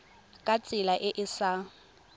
ka tsela e e sa